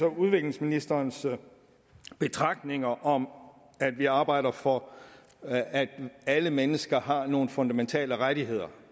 og udenrigsministerens betragtninger om at vi arbejder for at alle mennesker har nogle fundamentale rettigheder